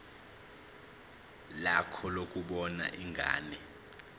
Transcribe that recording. lakho lokubona ingane